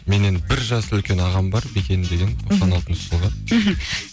менен бір жас үлкен ағам бар бекен деген тоқсан алтыншы жылғы мхм